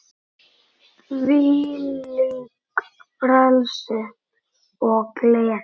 Þvílíkt frelsi og gleði.